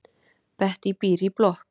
Bettý býr í blokk.